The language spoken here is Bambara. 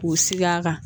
K'u sigi a kan